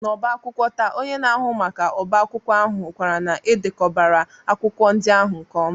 N'ọbá akwụkwọ taa onye na-ahụ maka ọbá akwụkwọ ahụ hụkwara na e dekọbara akwụkwọ ndị ahụ nke ọma